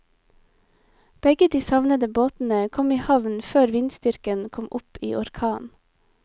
Begge de savnede båtene kom i havn før vindstyrken kom opp i orkan.